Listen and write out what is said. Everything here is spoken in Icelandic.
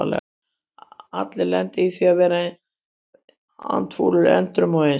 Allir lenda í því að vera andfúlir endrum og eins.